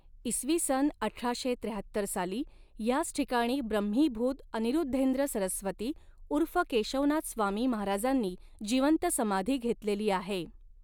इसवी सन अठराशे त्र्याहत्तर साली ह्याच ठिकाणी ब्रह्मीभूत अनिऋद्धेंद्र सरस्वती उर्फ केशवनाथ स्वामी महाराजांनी जिवंत समाधी घेतलेली आहे.